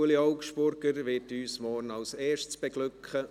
Ueli Augstburger wird uns morgen als Erster beglücken.